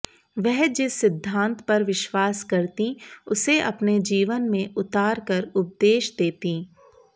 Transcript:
वह जिस सिद्धान्त पर विश्वास करतीं उसे अपने जीवन में उतार कर उपदेश देतीं